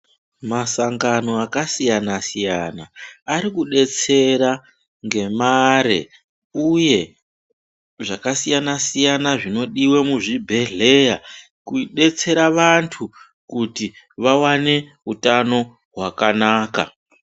Masangano akasiyana -siyana arikudetsera ngemare uye zvakasiyana -siyana zvinodiwe muzvibhehleya kudetsera vantu kuti vawane utano hwakanaka.